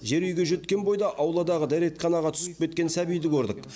жер үйге жеткен бойда ауладағы дәретханаға түсіп кеткен сәбиді көрдік